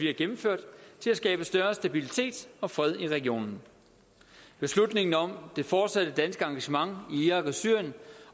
har gennemført til at skabe større stabilitet og fred i regionen beslutningen om det fortsatte danske engagement i irak og syrien